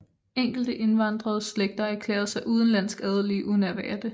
Enkelte indvandrede slægter erklærede sig udenlandsk adelige uden at være det